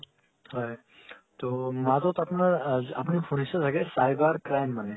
হয় তো মাজত আপোনাৰ আপোনি শুনিচে চাগে cyber crime মানে